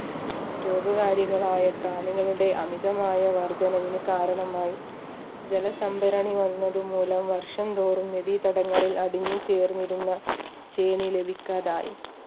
രോഗകാരികളായ പ്രാണികളുടെ അമിതമായ വർദ്ധനവിന് കാരണമായി ജലസംഭരണി വന്നത് മൂലം വർഷം തോറും നദീതടങ്ങളിൽ അടിഞ്ഞു ചേർന്നിരുന്ന ശ്രേണി ലഭിക്കാതായി